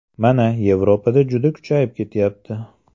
Mana, Yevropada juda kuchayib ketyapti.